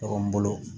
Ɲɔgɔn bolo